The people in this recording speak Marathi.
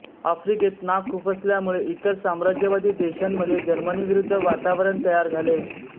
आफ्रिकेत नाक खुपसल्यामुळे इतर साम्राज्यवादी देशांमध्ये जर्मनीविरुद्ध वातावरण तयार झाले